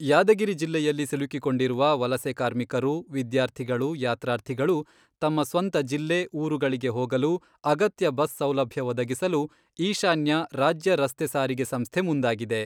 ಯಾದಗಿರಿ ಜಿಲ್ಲೆಯಲ್ಲಿ ಸಿಲುಕಿಕೊಂಡಿರುವ ವಲಸೆ ಕಾರ್ಮಿಕರು, ವಿದ್ಯಾರ್ಥಿಗಳು, ಯಾತ್ರಾರ್ಥಿಗಳು ತಮ್ಮ ಸ್ವಂತ ಜಿಲ್ಲೆ, ಊರುಗಳಿಗೆ ಹೋಗಲು ಅಗತ್ಯ ಬಸ್ ಸೌಲಭ್ಯ ಒದಗಿಸಲು ಈಶಾನ್ಯ ರಾಜ್ಯ ರಸ್ತೆ ಸಾರಿಗೆ ಸಂಸ್ಥೆ ಮುಂದಾಗಿದೆ.